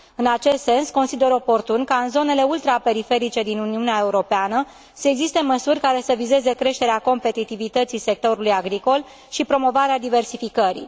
În acest sens, consider oportun ca în zonele ultraperiferice din Uniunea Europeană să existe măsuri care să vizeze creșterea competitivității sectorului agricol și promovarea diversificării.